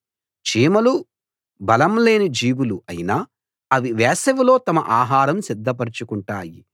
చీమలు బలం లేని జీవులు అయినా అవి వేసవిలో తమ ఆహారం సిద్ధపరచుకుంటాయి